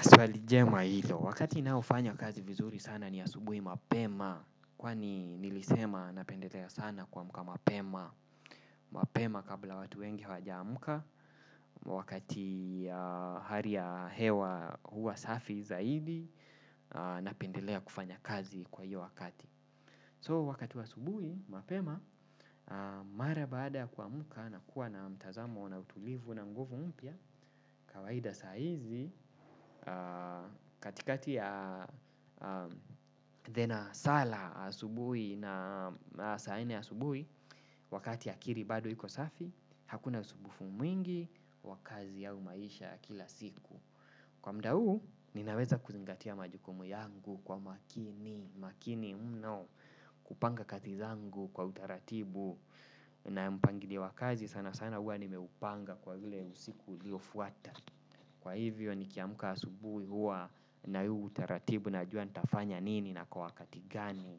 Swali jema hilo, wakati naofanya kazi vizuri sana ni asubuhi mapema. Kwani nilisema napendelea sana kuamka mapema. Mapema kabla watu wengi hawajaamka. Wakati hali ya hewa huwa safi zaidi. Napendelea kufanya kazi kwa hiyo wakati So wakati wa asubuhi mapema. Mara baada kuamka na kuwa na mtazamo na utulivu na nguvu mpya kawaida saa hizi katikati ya dhena sala asubuhi na saa nne asubuhi wakati akili bado iko safi hakuna usumbufu mwingi wa kazi au maisha ya kila siku kwa muda huu ninaweza kuzingatia majukumu yangu kwa makini makini mno kupanga kazi zangu kwa utaratibu na mpangilio wa kazi sana sana hua nimeupanga kwa vile usiku uliofuata. Kwa hivyo nikiamka asubuhi huwa na huu utaratibu najua nitafanya nini na kwa wakati gani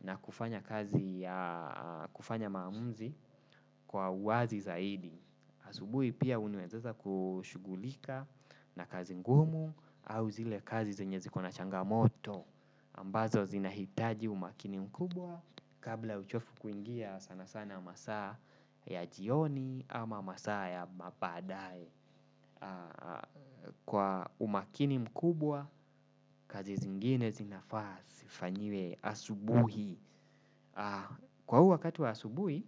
na kufanya kazi ya kufanya maamuzi kwa uwazi zaidi. Asubuhi pia unaeza weza kushughulika na kazi ngumu au zile kazi zenye ziko na changamoto ambazo zinahitaji umakini mkubwa kabla uchovu kuingia sana sana masaa ya jioni ama masaa ya mabaadae. Kwa umakini mkubwa, kazi zingine zinafaa, zifanyiwe asubuhi. Kwa huu wakati wa asubuhi,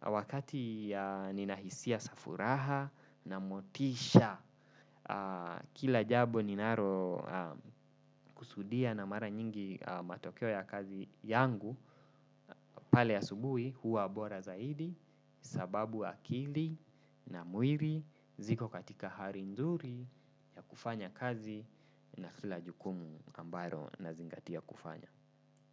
wakati nina hisia za furaha na motisha, kila jambo ninalo kusudia na mara nyingi matokeo ya kazi yangu, pale asubuhi huwa bora zaidi, sababu akili na mwili, ziko katika hali nzuri ya kufanya kazi na kila jukumu ambalo nazingatia kufanya.